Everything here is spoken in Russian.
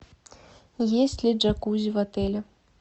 есть ли джакузи в отеле